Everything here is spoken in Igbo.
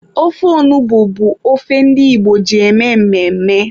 Ofe onugbu bụkwa ofe ndi Igbo ji eme mmemme.